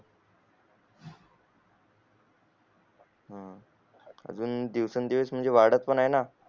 हम्म अजून दिवसेन दिवस म्हणजे वाढत पण आहे ना